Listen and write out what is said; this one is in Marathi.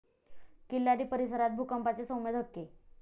किल्लारी परिसरात भूकंपाचे सौम्य धक्के